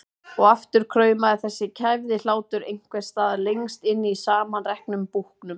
Og aftur kraumaði þessi kæfði hlátur einhvers staðar lengst inni í samanreknum búknum.